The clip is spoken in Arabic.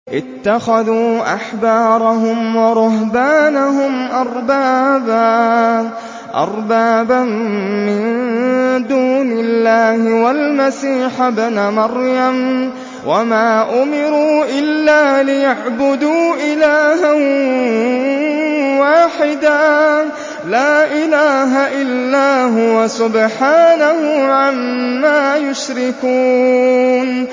اتَّخَذُوا أَحْبَارَهُمْ وَرُهْبَانَهُمْ أَرْبَابًا مِّن دُونِ اللَّهِ وَالْمَسِيحَ ابْنَ مَرْيَمَ وَمَا أُمِرُوا إِلَّا لِيَعْبُدُوا إِلَٰهًا وَاحِدًا ۖ لَّا إِلَٰهَ إِلَّا هُوَ ۚ سُبْحَانَهُ عَمَّا يُشْرِكُونَ